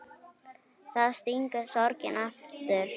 Þá stingur sorgin aftur.